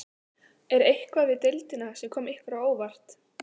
Er eitthvað við deildina sem kom ykkur á óvart?